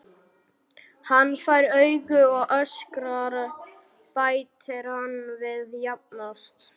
Hann fær augu og öskrar, bætir hann við jafn oft.